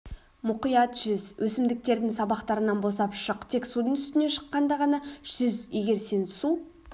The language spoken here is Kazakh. мұқият жүз өсімдіктердің сабақтарынан босап шық тек судың үстіне шыққанда ғана жүз егер сен су